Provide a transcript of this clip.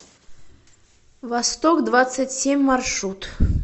восток двадцать семь маршрут